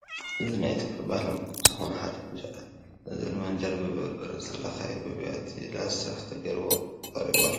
እዚ ናይ ኢትዮያ ባህላዊ ምግቢ ዝኮነ ሓደ እንጀራ እዮ " እዚ ድማ እንጀራ ብበርበረ ዝተለከየ ኣብ ቢያቲ ላስቲክ ተገይርዎ ተቀሪቡ ኣሎ።